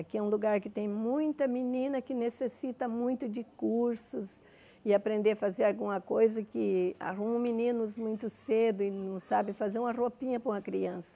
Aqui é um lugar que tem muita menina que necessita muito de cursos e aprender a fazer alguma coisa que arruma meninos muito cedo e não sabe fazer uma roupinha para uma criança.